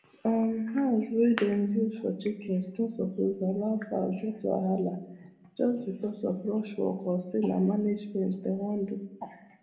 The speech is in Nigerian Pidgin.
um house wey them build for chickens no suppose allow fowl get wahala just because of rush work or say na managment them wan do